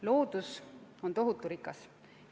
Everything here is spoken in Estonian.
Loodus on tohutu rikas.